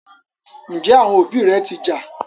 Njé àwọn òbí ré ti ja?